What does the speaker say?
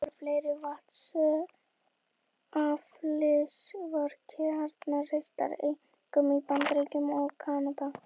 Á næstu árum voru fleiri vatnsaflsvirkjanir reistar, einkum í Bandaríkjunum og Kanada.